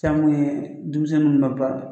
Fɛn min ye denmisɛnninw ka baara